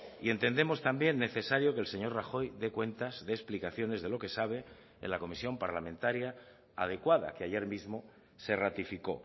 y entendemos también necesario que el señor rajoy dé cuentas de explicaciones de lo que sabe en la comisión parlamentaria adecuada que ayer mismo se ratificó